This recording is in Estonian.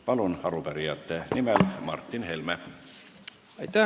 Martin Helme arupärijate nimel, palun!